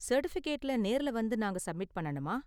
சர்டிபிகேட்ட நேர்ல வந்து நாங்க சப்மிட் பண்ணனுமா?